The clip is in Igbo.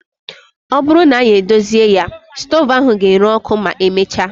Ọ bụrụ na anyị edozi ya, stoovu ahụ ga-ere ọkụ ma emechaa